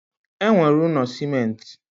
E nwere ụnọ simenti